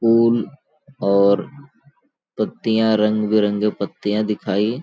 फूल और पत्तियाँ रंग -बिरंगे पत्तियाँ दिखाई --